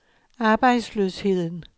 arbejdsløsheden